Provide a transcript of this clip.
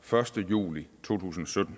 første juli to tusind og sytten